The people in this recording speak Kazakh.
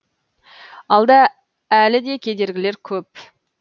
алда әлі де кедергілер көп